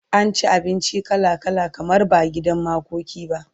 an ci abinci kala kala kamar ba gidan makoki ba